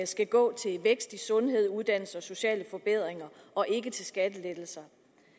skal gå til vækst i sundhed uddannelse og sociale forbedringer og ikke til skattelettelser